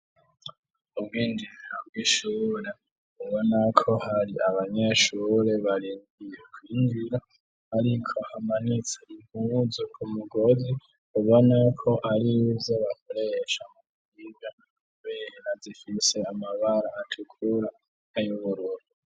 Ubwinjiriro bw'ishure ubonako hari abanyeshure barindiye kwinjira ariko hamanitse impuzu ku mugozi ubona ko arizo bakoresha mukwiga kubera zifise amabara atukura n'ay'ubururu.